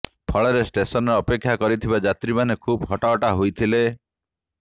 ଫଳରେ ଷ୍ଟେସନରେ ଅପେକ୍ଷା କରିଥିବା ଯାତ୍ରୀମାନେ ଖୁବ୍ ହଟହଟା ହୋଇଥିଲେ